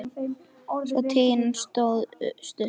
Sú tign hans stóð stutt.